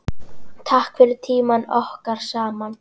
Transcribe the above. Takk fyrir tímann okkar saman.